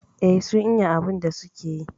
Eh sun iya abun da suke yi